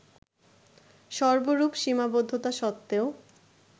সর্বরূপ সীমাবদ্ধতা সত্ত্বেও